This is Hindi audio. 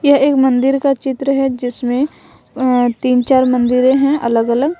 यह एक मंदिर का चित्र है जिसमें तीन चार मंदिरें हैं अलग अलग।